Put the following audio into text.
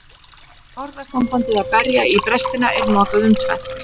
Orðasambandið að berja í brestina er notað um tvennt.